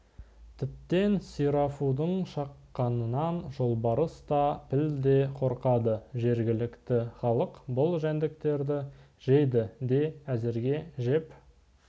тіптен сирафудың шаққанынан жолбарыс та піл де қорқады жергілікті халық бұл жәндіктерді жейді де әзірге жеп